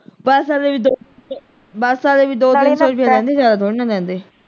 bus ਆਲੇ ਵੀ ਦੋ bus ਵਾਲੇ ਵੀ ਦੋ ਤਿੰਨ ਸੋ ਲੈਂਦੇ ਜ਼ਿਆਦਾ ਥੋੜੀ ਲੈਂਦੇ।